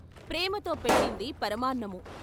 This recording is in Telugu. ప్రేమతో పెట్టింది పరమాన్నమూ....